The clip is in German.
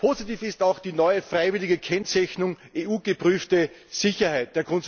Positiv ist auch die neue freiwillige Kennzeichnung EU geprüfte Sicherheit.